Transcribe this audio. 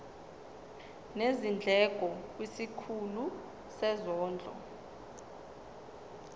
nezindleko kwisikhulu sezondlo